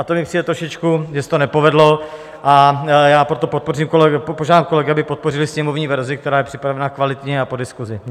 A to mi přijde trošičku, že se to nepovedlo, a já proto požádám kolegy, aby podpořili sněmovní verzi, která je připravena kvalitně a po diskusi.